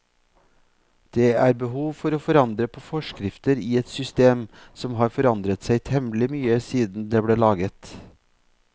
Det er behov for å forandre på forskrifter i et system som har forandret seg temmelig mye siden det ble laget.